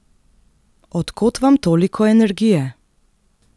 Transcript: Od kod vam toliko energije?